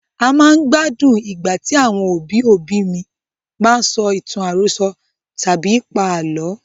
A máa ń gbádùn Ìgbà tí àwọn òbí òbí mi bá ń sọ ìtàn àròsọ tàbí pa àlọ́.